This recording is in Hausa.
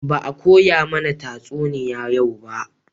Ba a koya mana tatsuniya yau ba